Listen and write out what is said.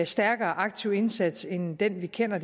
stærkere aktiv indsats end den vi kender